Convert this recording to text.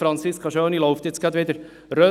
Franziska Schöni kehrt gleich wieder um.